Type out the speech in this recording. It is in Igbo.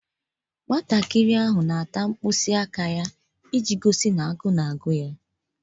Nwatakịrị ahụ na-eri mkpịsị aka ya dị ka ihe na-egosi na agụụ na-agụ ya.